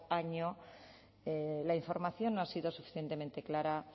año la información no ha sido suficientemente clara